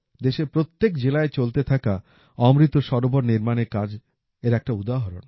দেশের প্রত্যেক জেলায় চলতে থাকা অমৃত সরোবর নির্মানের কাজ এর একটা উদাহরণ